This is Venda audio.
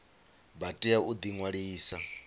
vha tea u ḓi ṅwalisa